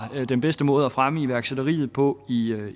den bedste måde at fremme iværksætteriet på i